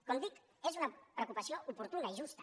com dic és una preocupació oportuna i justa